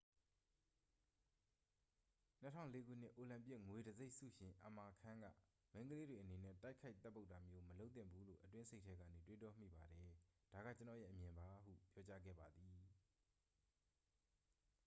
"၂၀၀၄ ခုနှစ် အိုလံပစ်ငွေတံဆိပ်ဆုရှင် အမာခန်းက၊ "မိန်းကလေးတွေအနေနဲ့ တိုက်ခိုက်သတ်ပုတ်တာမျိုး မလုပ်သင့်ဘူးလို့ အတွင်းစိတ်ထဲကနေ တွေးတောမိပါတယ်။ ဒါက ကျွန်တော့်ရဲ့အမြင်ပါ" ဟု ပြောကြားခဲ့ပါသည်။